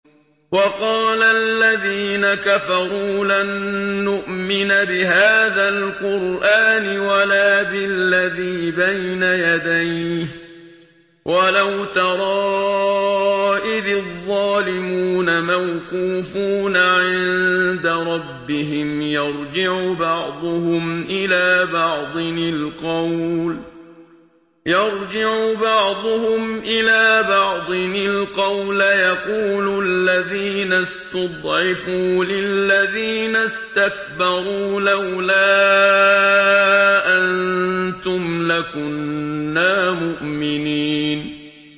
وَقَالَ الَّذِينَ كَفَرُوا لَن نُّؤْمِنَ بِهَٰذَا الْقُرْآنِ وَلَا بِالَّذِي بَيْنَ يَدَيْهِ ۗ وَلَوْ تَرَىٰ إِذِ الظَّالِمُونَ مَوْقُوفُونَ عِندَ رَبِّهِمْ يَرْجِعُ بَعْضُهُمْ إِلَىٰ بَعْضٍ الْقَوْلَ يَقُولُ الَّذِينَ اسْتُضْعِفُوا لِلَّذِينَ اسْتَكْبَرُوا لَوْلَا أَنتُمْ لَكُنَّا مُؤْمِنِينَ